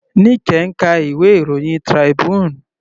Nike ń ka ìwé ìròyìn Tribune.